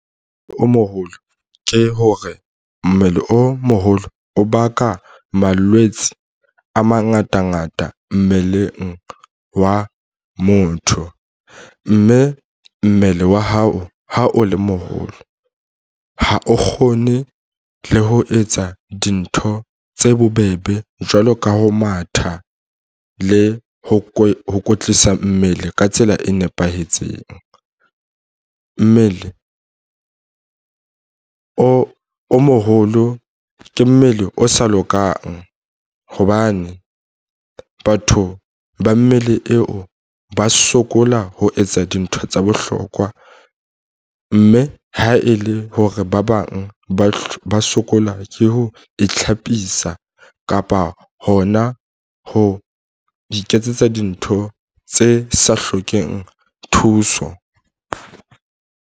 O moholo ke hore mmele o moholo o baka malwetse a mangatangata mmeleng wa motho mme mmele wa hao ha o le moholo ha o kgone le ho etsa dintho tse bobebe jwalo ka ho matha le ho kwetlisa mmele ka tsela e nepahetseng. Mmele o moholo ke mmele o sa lokang hobane batho ba mmele eo ba sokola ho etsa dintho tsa bohlokwa mme ha e le hore ba bang ba sokola ke ho itlhapisa kapa hona ho iketsetsa dintho tse sa hlokeng thuso.